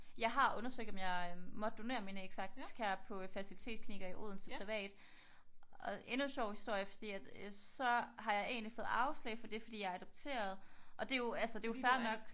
Jeg har undersøgt om jeg måtte donere mine æg faktisk her på fertilitetsklinikker her i Odense privat. Og endnu en sjov historie fordi at så har jeg egentlig fået afslag på det fordi jeg er adopteret og det er jo fair nok